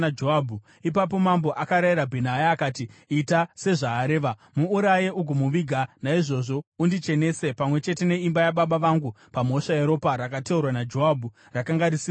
Ipapo mambo akarayira Bhenaya akati, “Ita sezvaareva. Muuraye ugomuviga, naizvozvo undichenese pamwe chete neimba yababa vangu pamhosva yeropa rakateurwa naJoabhu rakanga risina mhosva.